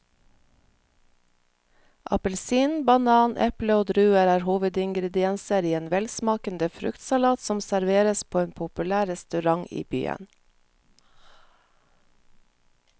Appelsin, banan, eple og druer er hovedingredienser i en velsmakende fruktsalat som serveres på en populær restaurant i byen.